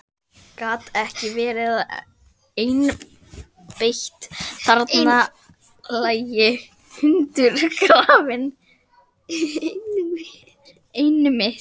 Nútíminn, segirðu, en þetta hefur samt ekki gengið alltof vel?